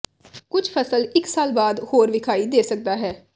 ਕੁਝ ਫਸਲ ਇਕ ਸਾਲ ਬਾਅਦ ਹੋਰ ਵਿਖਾਈ ਦੇ ਸਕਦਾ ਹੈ